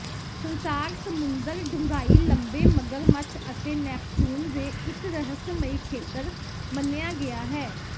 ਸੰਸਾਰ ਸਮੁੰਦਰ ਡੂੰਘਾਈ ਲੰਬੇ ਮਗਰਮੱਛ ਅਤੇ ਨੈਪਚੂਨ ਦੇ ਇੱਕ ਰਹੱਸਮਈ ਖੇਤਰ ਮੰਨਿਆ ਗਿਆ ਹੈ